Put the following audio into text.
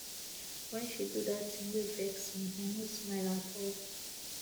wen she do dat tin wey vex me i no smile at all